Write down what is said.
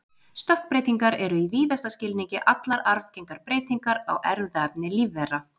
Stökkbreytingar eru í víðasta skilningi allar arfgengar breytingar á erfðaefni lífvera.